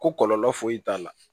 Ko kɔlɔlɔ foyi t'a la